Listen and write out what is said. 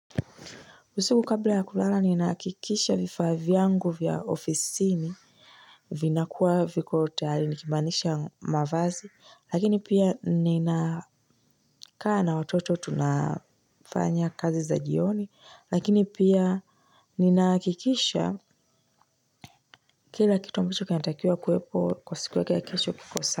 Usiku kabla ya kulala ninahakikisha vifaa vyangu vya ofisini. Vina kuwa viko tayari nikimanisha mavazi, lakini pia nina kaa na watoto tunafanya kazi za jioni, lakini pia ni nahakikisha kila kitu ambacho kitakiwa kuwepo kwa siku yake ya kesho kiko sawa.